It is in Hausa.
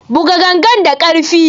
Buga gangar da karfi!